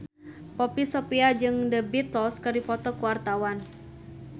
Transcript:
Poppy Sovia jeung The Beatles keur dipoto ku wartawan